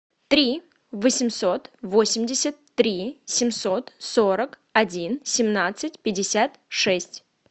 три восемьсот восемьдесят три семьсот сорок один семнадцать пятьдесят шесть